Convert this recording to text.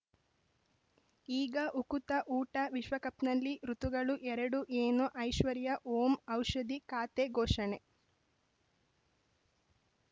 ಈಗ ಉಕುತ ಊಟ ವಿಶ್ವಕಪ್‌ನಲ್ಲಿ ಋತುಗಳು ಎರಡು ಏನು ಐಶ್ವರ್ಯಾ ಓಂ ಔಷಧಿ ಖಾತೆ ಘೋಷಣೆ